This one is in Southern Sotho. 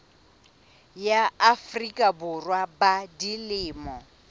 ya afrika borwa ba dilemo